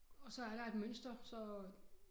Og så er der et mønster så